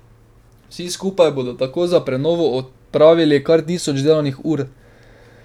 Vsi skupaj bodo tako za prenovo opravili kar tisoč delovnih ur.